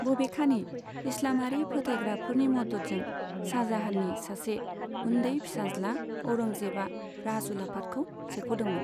बबेखानि, इस्लामारि फोथायग्राफोरनि मददजों, शाजाहाननि सासे उन्दै फिसाज्ला, औरंजेबआ राजउलाफादखौ सेख'दोंमोन।